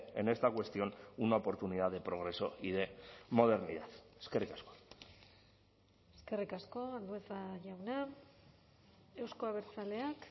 en esta cuestión una oportunidad de progreso y de modernidad eskerrik asko eskerrik asko andueza jauna euzko abertzaleak